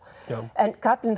en kaflinn